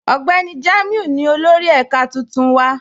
Ọgbẹni Jamiu ni olórì èká tuntun wa.